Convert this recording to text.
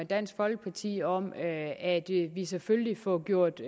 dansk folkeparti om at vi selvfølgelig får gjort